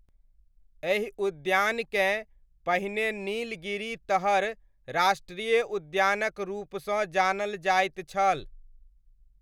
एहि उद्यानकेँ पहिने नीलगिरी तहर राष्ट्रीय उद्यानक रूपसँ जानल जाइत छल।